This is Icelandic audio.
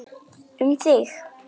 Um þig.